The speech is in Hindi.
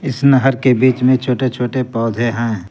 इस नहर के बीच में छोटे छोटे पौधे हैं।